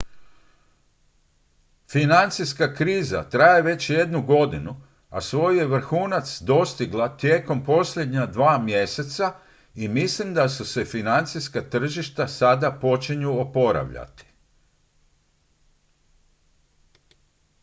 financijska kriza traje već jednu godinu a svoj je vrhunac dostigla tijekom posljednja dva mjeseca i mislim da se financijska tržišta sada počinju oporavljati